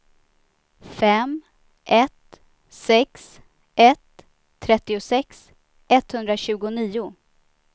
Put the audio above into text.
fem ett sex ett trettiosex etthundratjugonio